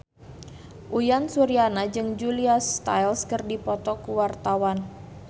Uyan Suryana jeung Julia Stiles keur dipoto ku wartawan